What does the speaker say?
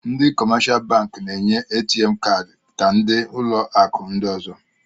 Ndị kọmáshá bankị Na-enye ATM káádi ka ndị ụlọ akụ ndị ọ̀zọ